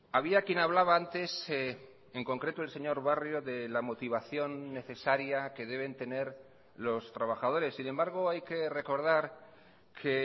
había quien hablaba antes en concreto el señor barrio de la motivación necesaria que deben tener los trabajadores sin embargo hay que recordar que